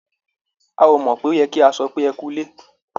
A ò mọ̀ pé ó yẹ kí a sọ pé "ẹ kú ilé".